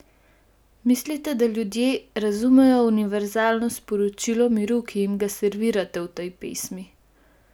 Mislite, da ljudje razumejo univerzalno sporočilo miru, ki jim ga servirate v tej pesmi?